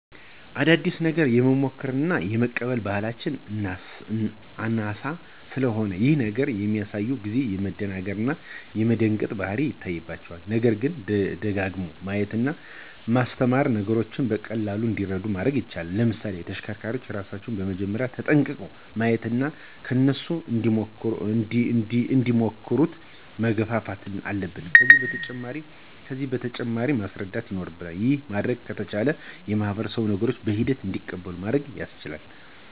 አዲስ ነገር የመሞከር እና የመቀበል ባህላችን አናሳ ስለሆነ ይሄን ነገር በሚያዩ ጊዜ የመደናገር እና የመደንገጥ ባህሪ ይታይባቸዋል። ነገርግን ደጋግሞ በማሳየት እና በማስተማር ነገሮችን በቀላሉ እንዲረዱ ማድረግ ይቻላል። ለምሳሌ ተሽከርካሪዎችን ራሳችን መጀመርያ ተጠቅመን ማሳየት እና እነሱም እንዲሞክሩት መገፋፋት አለብን። ከዚህ በተጨማሪ ስለ መሳሪያዎቹ ጥቅም እና አገልግሎት ማስረዳት ይኖርብናል። ይሄን ማድረግ ከቻልን ማህበረሰቡ ነገሮችን በሂደት እንዲቀበሉን ማድረግ ያስችለናል።